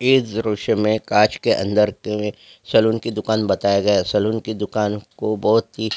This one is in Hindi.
इस दृश्य में कांच के अन्दर पे सैलून की दूकान बताया गया है सैलून की दूकान को बहुत ही